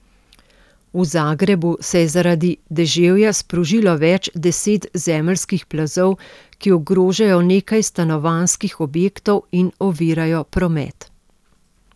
V Zagrebu se je zaradi deževja sprožilo več deset zemeljskih plazov, ki ogrožajo nekaj stanovanjskih objektov in ovirajo promet.